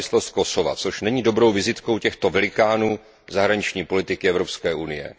nezávislost Kosova, což není dobrou vizitkou těchto velikánů zahraniční politiky Evropské unie.